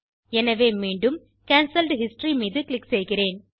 எனவே மீண்டும் cancelled history மீது க்ளிக் செய்கிறேன்